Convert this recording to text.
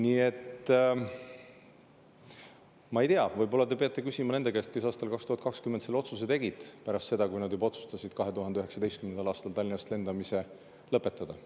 Nii et ma ei tea, võib-olla te peate seda küsima nende käest, kes aastal 2020 selle otsuse tegid, pärast seda, kui juba 2019. aastal oli otsustatud Tallinnast lendamine lõpetada.